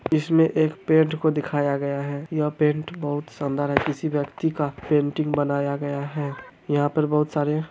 इसमें एक पेंट को दिखाया गया है यह पेंट बहुत शानदार है किसी व्यक्ती का पेंटिंग बनाया गया है यहाँ पर बहुत सारे--